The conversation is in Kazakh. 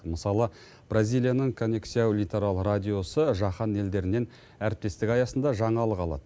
мысалы бразилияның конексияу литерал радиосы жаһан елдерінен әріптестік аясында жаңалық алады